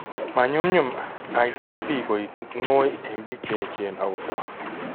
Manyumnyum, ITP koek ngoy en biik che echen ak kotok